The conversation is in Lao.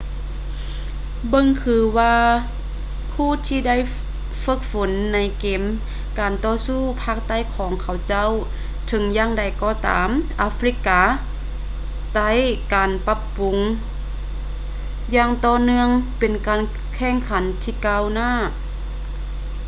ເບິ່ງຄືວ່າຜູ້ທີ່ບໍ່ໄດ້ເຝິກຝົນໃນເກມການຕໍ່ສູ້ພາກໃຕ້ຂອງເຂົາເຈົ້າ ເຖິງຢ່າງໃດກໍຕາມ ອາຟຣິກາໃຕການປັບປຸງຢ່າງຕໍ່ເນື່ອງເປັນການແຂ່ງຂັນທີ່ກ້າວຫນ້າ